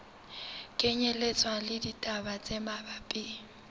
kenyelletswa le ditaba tse mabapi